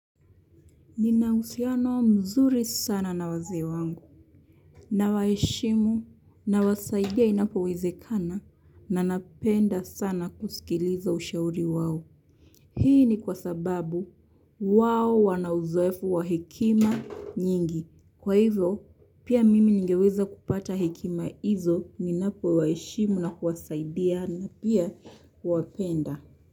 Ninahusiano mzuri sana na wazee wangu, nawaheshimu, na wasaidia inapowezekana, na napenda sana kusikiliza ushauri wawo. Hii ni kwa sababu wao wana uzoefu wa hekima nyingi. Kwa hivyo, pia mimi ningeweza kupata hekima hizo, ninapo waheshimu na kuwasaidia na pia wapenda.